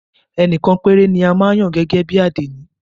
Ẹnìkan péré ni a máa ń yàn gẹ́gẹ́ bí àdénì.